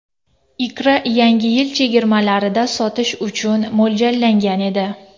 Ikra Yangi yil chegirmalarida sotish uchun mo‘ljallangan edi.